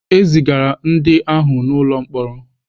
E zigara ndị ahụ n'ụlọ mkpọrọ.